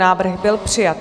Návrh byl přijat.